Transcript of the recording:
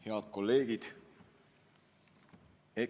Head kolleegid!